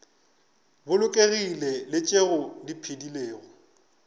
bolokegilego le tšeo di phedilego